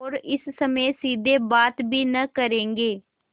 और इस समय सीधे बात भी न करेंगे